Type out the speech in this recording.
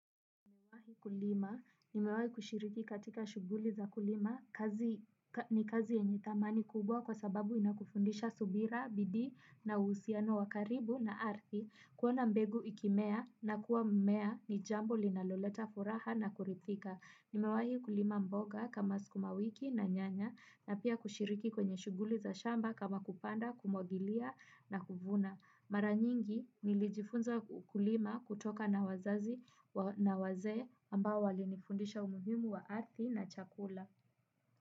Nimewahi kulima, nimewahi kushiriki katika shughuli za kulima, ni kazi yenye thamani kubwa kwa sababu inakufundisha subira, bidii na uhusiano wa karibu na ardhi, kuona mbegu ikimea na kuwa mmea ni jambo linaloleta furaha na kuridhika. Nimewahi kulima mboga kama sukuma wiki na nyanya na pia kushiriki kwenye shughuli za shamba kama kupanda kumwagilia na kuvuna. Mara nyingi nilijifunza kulima kutoka na wazazi na wazee ambao wali nifundisha umuhimu wa ardhi na chakula.